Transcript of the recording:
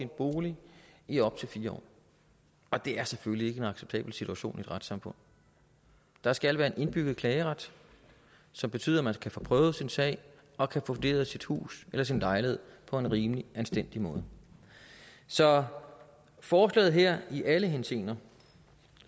bolig i op til fire år og det er selvfølgelig ikke en acceptabel situation i et retssamfund der skal være en indbygget klageret som betyder at man kan få prøvet sin sag og kan få vurderet sit hus eller sin lejlighed på en rimelig og anstændig måde så forslaget her går i alle henseender